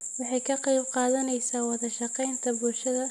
Waxay ka qayb qaadanaysaa wada shaqaynta bulshada